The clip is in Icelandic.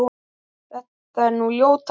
þetta er nú ljóta súpan